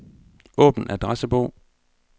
Åbn adressebog.